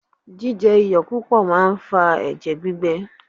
Jíjẹ iyọ̀ púpọ̀ máa ń fa ẹ̀jẹ̀ gbígbẹ.